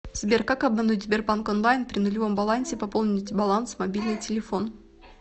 сбер как обмануть сбербанк онлайн при нулевом балансе пополнить баланс мобильный телефон